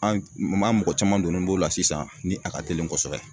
An maa mɔgɔ caman donnen b'o la sisan ni a ka teli kosɛbɛ